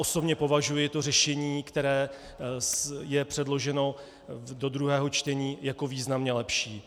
Osobně považuji to řešení, které je předloženo do druhého čtení, jako významně lepší.